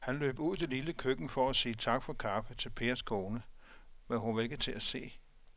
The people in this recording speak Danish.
Han løb ud i det lille køkken for at sige tak for kaffe til Pers kone, men hun var ikke til at se.